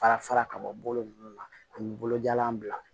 Fara fara ka bɔ nunnu na an bi bolojalan bila